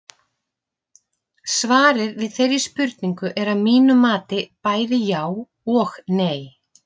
Svarið við þeirri spurningu er að mínu mati bæði já og nei.